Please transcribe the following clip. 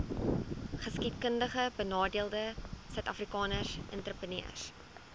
geskiedkundigbenadeelde suidafrikaanse entrepreneurs